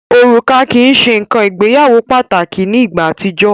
Òrùka kii ṣe nkan ìgbéyàwó pataki ni igba atijọ.